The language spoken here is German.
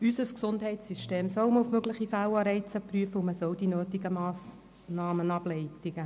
Unser Gesundheitssystem soll man auf mögliche Fehlanreize prüfen, und man soll die nötigen Massnahmen ableiten.